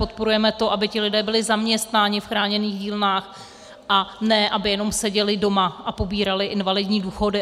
Podporujeme to, aby ti lidé byli zaměstnáni v chráněných dílnách, a ne aby jenom seděli doma a pobírali invalidní důchody.